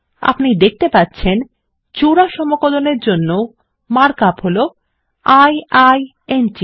আপনি দেখতে পাচ্ছে জোড়া সমকলনের জন্য মার্ক আপ হল i i n t